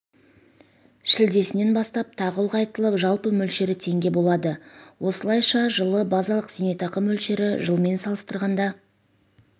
шілдесінен бастап тағы ұлғайтылып жалпы мөлшері теңге болады осылайша жылы базалық зейнетақы мөлшері жылмен салыстырғанда